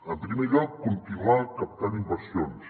en primer lloc continuar captant inversions